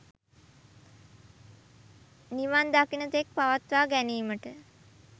නිවන් දකින තෙක් පවත්වා ගැනීමට